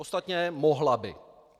Ostatně mohla by.